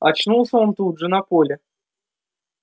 очнулся он тут же на поле